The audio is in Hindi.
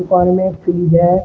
दुकान में एक फ्रिज है।